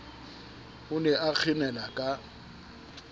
o ne a kgenela ka